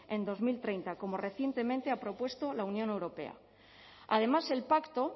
en dos mil treinta como recientemente ha propuesto la unión europea además el pacto